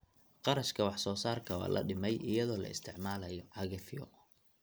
Kharashka wax soo saarka waa la dhimay iyadoo la isticmaalayo cagafyo.